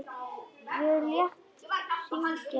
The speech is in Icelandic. Ég lét hringja lengi.